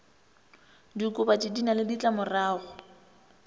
diokobatši di na le ditlamorago